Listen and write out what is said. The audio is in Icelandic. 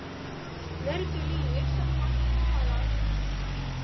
Mörgu lýgur sá margt talar.